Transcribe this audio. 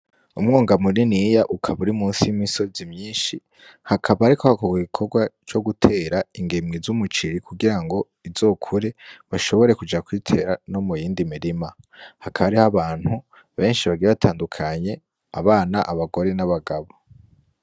Umwonga muniniya ukaba uri munsi yimisozi myinshi hakaba hariko hakorwa igikorwa co gutera ingemwe zumuceri kugirango zizokure bashobore kuja kuzitera no muyindi mirima hakaba hariho abantu benshi bagiye batandukanye abana abagore n'abagabo.